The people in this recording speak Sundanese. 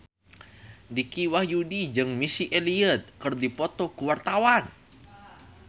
Dicky Wahyudi jeung Missy Elliott keur dipoto ku wartawan